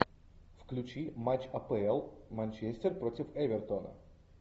включи матч апл манчестер против эвертона